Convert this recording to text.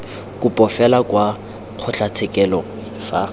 kopo fela kwa kgotlatshekelo fa